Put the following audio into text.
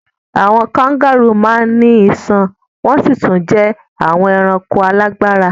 Àwọn kangárù máa ń ní iṣan wọn sì tún jẹ́ àwọn ẹranko alágbára.